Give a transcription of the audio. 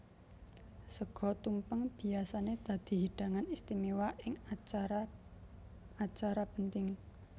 Sega tumpeng biyasané dadi hidangan istiméwa ing acara acara penting